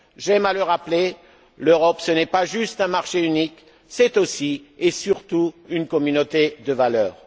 J'aime à le rappeler l'Europe, ce n'est pas juste un marché unique, c'est aussi et surtout une communauté de valeurs.